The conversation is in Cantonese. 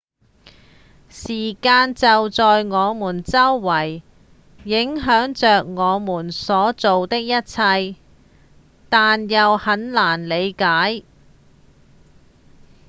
時間就在我們周圍影響著我們所做的一切但又很難理解